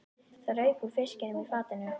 Það rauk úr fiskinum í fatinu.